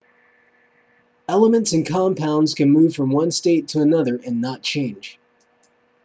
elements and compounds can move from one state to another and not change